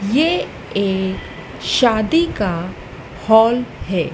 ये एक शादी का हॉल है।